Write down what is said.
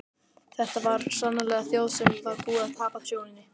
Þetta var sannarlega þjóð sem var búin að tapa sjóninni.